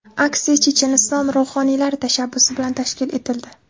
Aksiya Checheniston ruhoniylari tashabbusi bilan tashkil etildi.